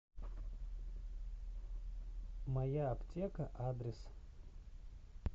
моя аптека адрес